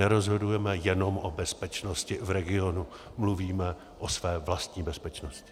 Nerozhodujeme jenom o bezpečnosti v regionu, mluvíme o své vlastní bezpečnosti.